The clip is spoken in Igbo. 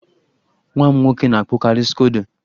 Nwa m nwoke na-akpụkari skodo.